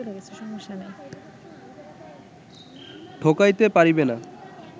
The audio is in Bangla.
ঠকাইতে পারিবে না